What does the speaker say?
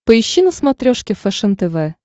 поищи на смотрешке фэшен тв